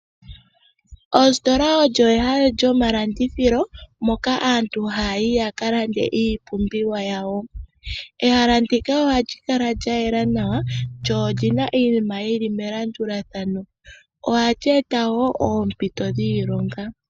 Ositola olyo ehala lyomalandithilo moka aantu haya yi yaka lande iipumbiwa yawo, ehala ndika ohali kala lya yela nawa lyo olina iinima yili melandulathano ohali eta noompito dhiilonga.